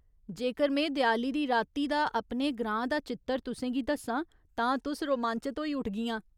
जेकर में देआली दी राती दा अपने ग्रां दा चित्तर तुसें गी दस्सां तां तुस रोमांचत होई उठगियां।